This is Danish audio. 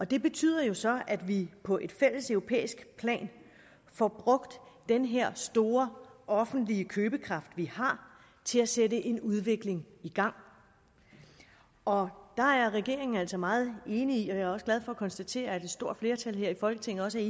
det betyder jo så at vi på et fælleseuropæisk plan får brugt den her store offentlige købekraft vi har til at sætte en udvikling i gang og der er regeringen altså meget enig i og jeg er glad for at konstatere at et stort flertal her i folketinget også er